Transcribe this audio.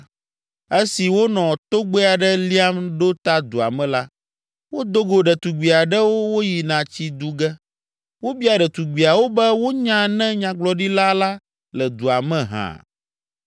Esi wonɔ togbɛ aɖe liam ɖo ta dua me la, wodo go ɖetugbi aɖewo woyina tsi du ge. Wobia ɖetugbiawo be wonya ne nyagblɔɖila la le dua me hã.